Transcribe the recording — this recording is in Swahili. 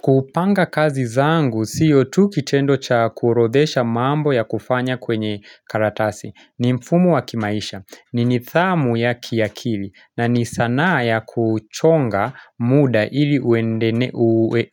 Kupanga kazi zangu, siyo tu kitendo cha kurodhesha mambo ya kufanya kwenye karatasi. Ni mfumo wa kimaisha, ni nidhamu ya kiakili, na ni sanaa ya kuchonga muda ili